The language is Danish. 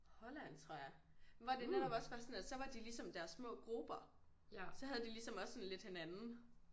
Holland tror jeg hvor det netop også var sådan at så var de ligesom deres små grupper så havde de ligesom også sådan lidt hinanden